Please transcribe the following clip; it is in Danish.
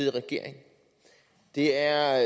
i regering det er